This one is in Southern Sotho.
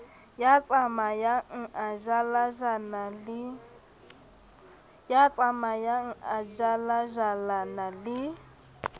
ya tsamayang a jalajalana le